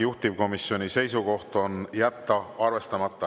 Juhtivkomisjoni seisukoht on jätta arvestamata.